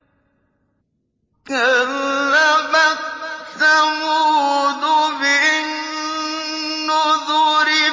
كَذَّبَتْ ثَمُودُ بِالنُّذُرِ